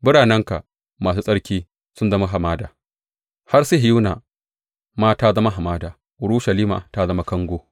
Biranenka masu tsarki sun zama hamada; har Sihiyona ma ta zama hamada; Urushalima ta zama kango.